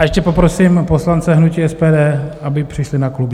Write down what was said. A ještě poprosím poslance hnutí SPD, aby přišli na klub.